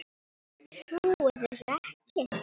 Ég trúi þessu ekki